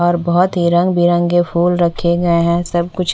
और बहोत ही रंगी बेरंगे फूल रखे गए है सबकुछ--